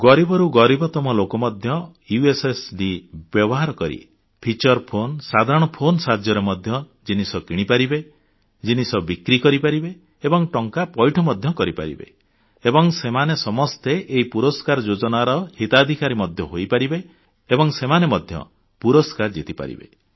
ଗରିବରୁ ଗରିବତମ ଲୋକ ମଧ୍ୟ ୟୁଏସଏସଡି ବ୍ୟବହାର କରି ଫିଚର ଫୋନ ସାଧାରଣ ଫୋନ ସାହାଯ୍ୟରେ ମଧ୍ୟ ଜିନିଷ କିଣିପାରିବେ ଜିନିଷ ବିକ୍ରି କରିପାରିବେ ଏବଂ ଟଙ୍କା ପଇଠ ମଧ୍ୟ କରିପାରିବେ ଏବଂ ସେମାନେ ସମସ୍ତେ ଏହି ପୁରସ୍କାର ଯୋଜନାର ହିତାଧିକାରୀ ମଧ୍ୟ ହୋଇପାରିବେ ଏବଂ ସେମାନେ ମଧ୍ୟ ପୁରସ୍କାର ଜିତି ପାରିବେ